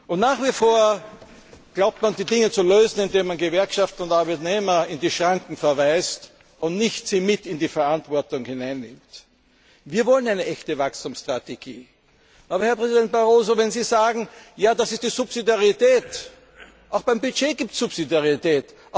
Und nach wie vor glaubt man, die Dinge zu lösen, indem man Gewerkschaft und Arbeitnehmer in die Schranken verweist und sie nicht mit in die Verantwortung nimmt. Wir wollen eine echte Wachstumsstrategie. Aber, Herr Präsident Barroso, wenn Sie sagen, ja, das ist die Subsidiarität Auch beim Budget gibt es Subsidiarität.